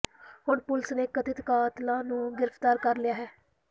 ਹੁਣ ਪੁਲੀਸ ਨੇ ਕਥਿਤ ਕਾਤਲਾਂ ਨੂੰ ਗ੍ਰਿਫਤਾਰ ਕਰ ਲਿਆ ਹੈ